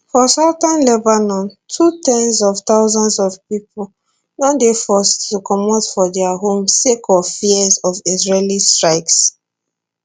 for southern lebanon too ten s of thousands of pipo don dey forced to comot from dia homes sake of fears of israeli strikes